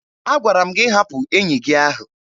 Agwara m gị hapụ enyi gị ahụ!